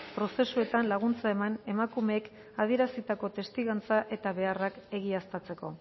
prozesuetan laguntza eman emakumeek adierazitako testigantza eta beharrak egiaztatzeko